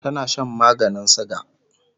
tana Shan maganin suga